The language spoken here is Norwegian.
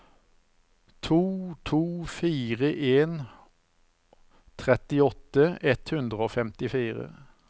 to to fire en trettiåtte ett hundre og femtifire